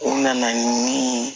U nana ni